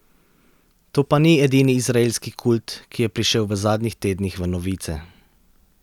To pa ni edini izraelski kult, ki je prišel v zadnjih tednih v novice.